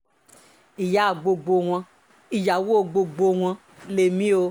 ìyá gbogbo wọn ìyàwó gbogbo wọn lèmi o